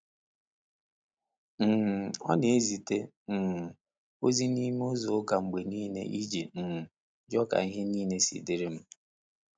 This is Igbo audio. um Ọ na ezite um ozi n’ime izu ụka mgbe niile iji um jụọ ka ihe niile si dịrị m.